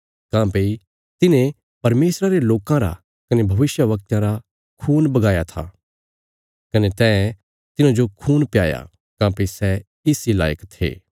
काँह्भई तिन्हें परमेशरा रे लोकां रा कने भविष्यवक्तयां रा खून बहाया था कने तैं तिन्हांजो खून प्याया काँह्भई सै इस इ लायक ये